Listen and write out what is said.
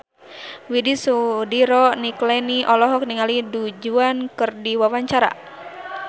Widy Soediro Nichlany olohok ningali Du Juan keur diwawancara